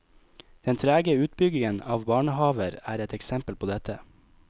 Den trege utbyggingen av barnehaver er et eksempel på dette.